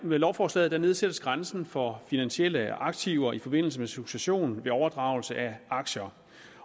med lovforslaget nedsættes grænsen for finansielle aktiver i forbindelse med succession ved overdragelse af aktier